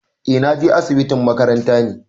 Eh na je asibitin makaranta ne.